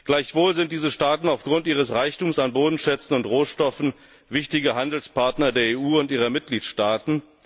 Gleichwohl sind diese Staaten aufgrund ihres Reichtums an Bodenschätzen und Rohstoffen wichtige Handelspartner der EU und ihrer Mitgliedstaaten.